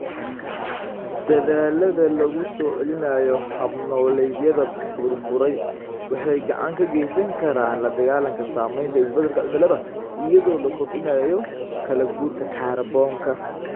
Dadaallada lagu soo celinayo hab-nololeedyada burburay waxay gacan ka geysan karaan la dagaallanka saameynta isbeddelka cimilada iyadoo la kordhinayo kala-guurka kaarboonka.